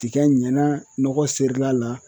Tiga ɲana nɔgɔ serila.